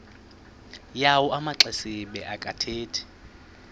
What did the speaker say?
yawo amaxesibe akathethi